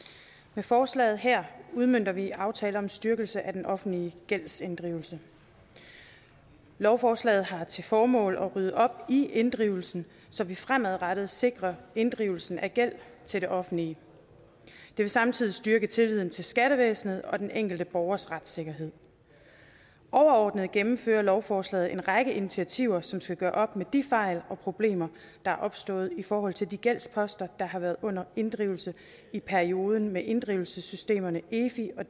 med forslaget her udmønter vi aftale om styrkelse af den offentlige gældsinddrivelse lovforslaget har til formål at rydde op i inddrivelsen så vi fremadrettet sikrer inddrivelsen af gæld til det offentlige det vil samtidig styrke tilliden til skattevæsenet og den enkelte borgers retssikkerhed overordnet gennemfører lovforslaget en række initiativer som skal gøre op med de fejl og problemer der er opstået i forhold til de gældsposter der har været under inddrivelse i perioden med inddrivelsessystemerne efi og